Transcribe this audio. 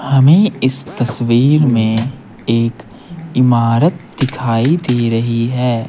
हमें इस तस्वीर मेंएक इमारत दिखाई दे रही है।